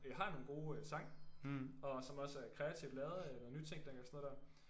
Øh har nogle gode øh sange og som også er kreativt lavet eller nytænkning og sådan noget der